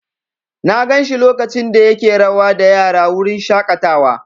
Na gan shi lokacin da yake rawa da yara a wurin shaƙatawa.